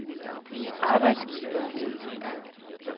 arbejdsgivere